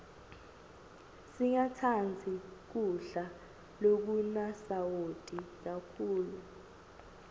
singatsandzi kudla lokunasawati kakhulu